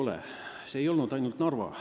See pole nii juhtunud ainult Narvas.